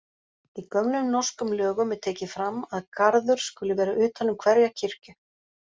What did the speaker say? Í gömlum norskum lögum er tekið fram að garður skuli vera utan um hverja kirkju.